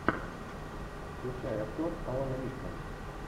включай актер алан рикман